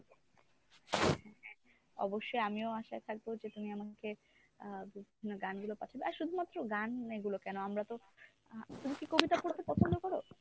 হ্যাঁ, অ, অবশ্যই আমিও আশায় থাকবো যে তুমি আমাকে আহ বিভিন্ন গানগুলো পাঠাবে আর শুধু মাত্র গানগুলো কেন আমরাতো আহ তুমি কি কবিতা পড়তে পছন্দ কর?